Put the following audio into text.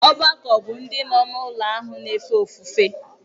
Ọgbakọ bụ ndị nọ n’ụlọ ahụ na-efe ofufe.